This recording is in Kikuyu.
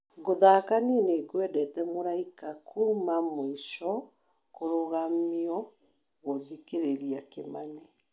gũthaaka niĩ nĩngwendete mũraika kuuma mũico kũrũgamio gũthikĩrĩria kĩmani